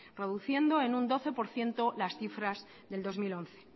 reduciendo en un doce por ciento las cifras del dos mil once